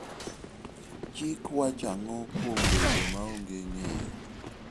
Chik wachang'o kuom bedo maonge ng'eyo?